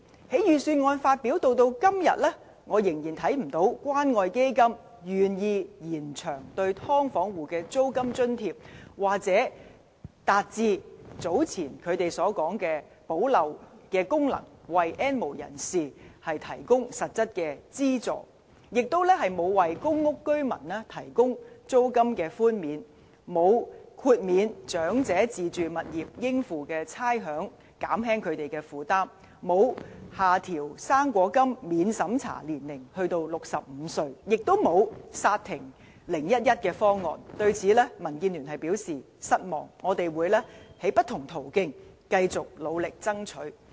由預算案發表至今，我仍然看不到關愛基金願意延長對"劏房戶"的租金津貼，或達致早前他們所說的"補漏"功能，為 "N 無人士"提供實質資助；也沒有為公屋居民提供租金寬免；沒有豁免長者自住物業應付的差餉，減輕他們的負擔；沒有下調"生果金"免審查年齡至65歲；也沒有剎停 "0-1-1" 方案，對此，民建聯表示失望，我們會透過不同途徑，繼續努力爭取。